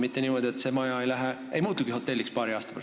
Kas ei või juhtuda niimoodi, et paari aasta pärast see maja muutubki hotelliks?